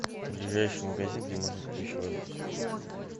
ближайший магазин где можно купить швабру